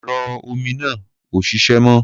Ẹ̀rọ omi náà ò ṣiṣẹ́ mọ́.